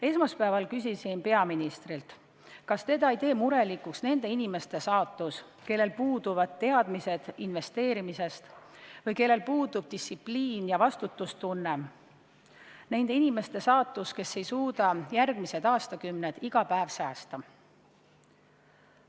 Esmaspäeval küsisin peaministrilt, kas teda ei tee murelikuks nende inimeste saatus, kellel puuduvad teadmised investeerimisest või kellel puudub distsipliin ja vastutustunne, nende inimeste saatus, kes ei suuda järgmised aastakümned iga päev säästa.